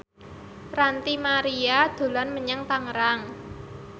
Ranty Maria dolan menyang Tangerang